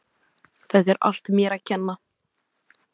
Þetta er allt mér að kenna.